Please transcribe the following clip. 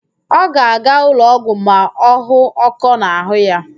Ọ ga-aga ụlọọgwụ ma ọ hụ ọ́kọ́ n'àhụ́ ya